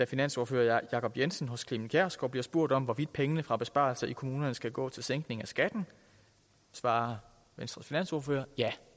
finansordfører jacob jensen hos clement kjersgaard bliver spurgt om hvorvidt pengene fra besparelserne i kommunerne skal gå til sænkning af skatten svarer venstres finansordfører ja